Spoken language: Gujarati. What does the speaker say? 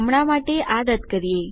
હમણા માટે આ રદ કરીએ